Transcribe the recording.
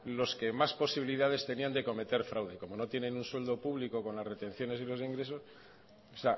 los que más posibilidades tenían de cometer fraude como no tienen un sueldo público con las retenciones y los ingresos o